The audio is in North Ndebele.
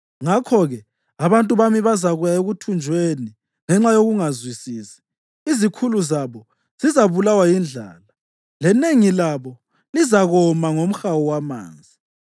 Ngakho-ke abantu bami bazakuya ekuthunjweni ngenxa yokungazwisisi; izikhulu zabo zizabulawa yindlala lenengi labo lizakoma ngomhawu wamanzi.